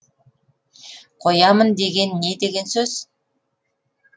қоямын деген не деген сөз